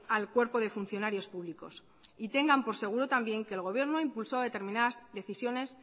al cuerpo de funcionarios públicos y tengan por seguro también que el gobierno ha impulsado determinadas decisiones